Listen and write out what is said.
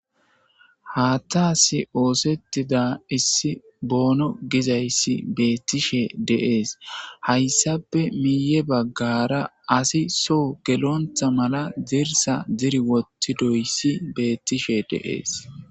Haatta asi oosettida issi boono gizayssi beettishe deees hayssape miiye baggara asi so gelontha mala zirsa ziri wottidoyssi beettishe deees.